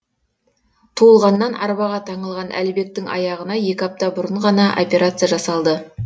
туылғаннан арбаға таңылған әлібектің аяғына екі апта бұрын ғана операция жасалды